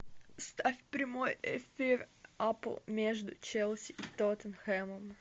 ставь прямой эфир апл между челси и тоттенхэмом